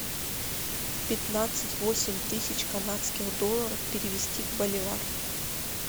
пятнадцать восемь тысяч канадских долларов перевести в боливар